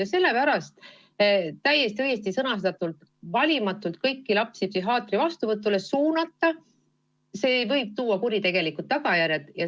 Ja sellepärast on täiesti õigesti sõnastatud, et valimatult kõikide laste psühhiaatri vastuvõtule suunamine võib kaasa tuua kuritegelikud tagajärjed.